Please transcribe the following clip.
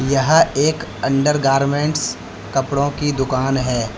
यह एक अंडरगार्मेंट्स कपड़ों की दुकान है।